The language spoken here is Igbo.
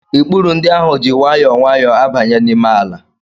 Ikpuru ndị ahụ ji nwayọọ nwayọọ abanye n'ime ala